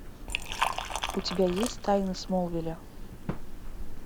у тебя есть тайны смолвиля